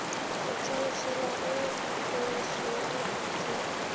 letswaifela go e swerwe ke